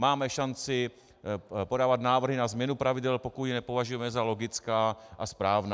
Máme šanci podávat návrhy na změnu pravidel, pokud je nepovažujeme za logická a správná.